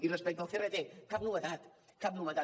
i respecte al crt cap novetat cap novetat